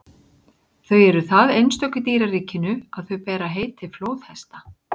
þau eru það einstök í dýraríkinu að þau bera heiti flóðhesta